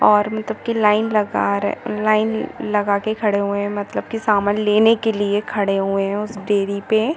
और मतलब की लाइन लगा लाइन लगा के खड़े हुए मतलब की सामान लेने के लिए खड़े हुए है उस डेरी पे --